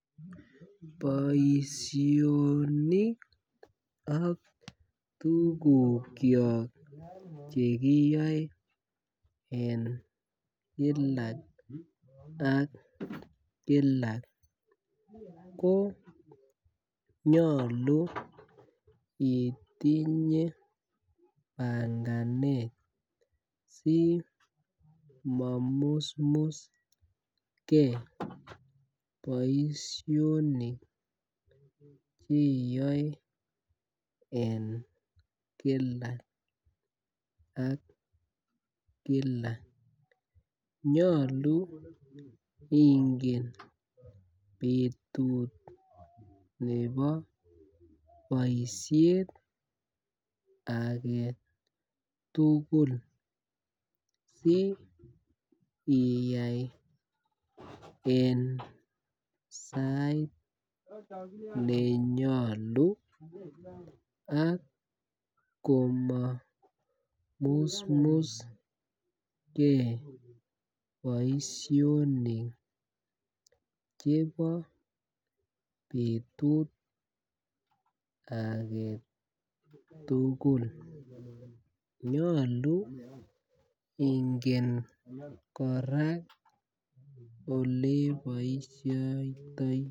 Boishonik ak tukuk kyok chekiyoe en Kila ak Kila ko nyolu itinye panganet simomusmus gee boishonik chekiyoe en Kila ak Kila. Nyolu ingen betut nebo boishet agetutuk si iyai en sai nenyolu ak komomusmus gee boishonik chebo betut agetukul, nyolu ingen koraa oleboishoitoi.